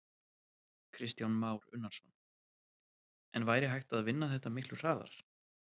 Kristján Már Unnarsson: En væri hægt að vinna þetta miklu hraðar?